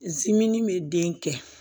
bɛ den kɛ